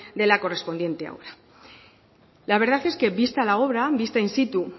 de la correspondiente obra la verdad es que vista la obra vista in situ